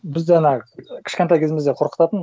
бізді ана кішкентай кезімізде қорқытатын